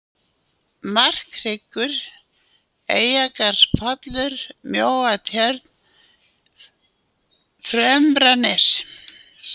Markhryggur, Eyjargarðspollur, Mjóatjörn, Fremranes